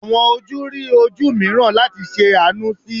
Awọn oju ri oju miiran lati ṣe aanu si i